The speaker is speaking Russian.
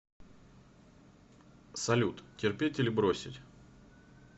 салют терпеть или бросить